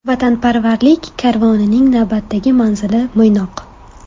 Vatanparvarlik karvonining navbatdagi manzili Mo‘ynoq.